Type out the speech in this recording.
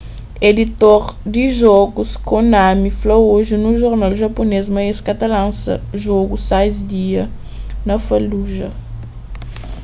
editor di jogus konami fla oji nun jornal japunês ma es ka ta lansa jogu sais dia na fallujah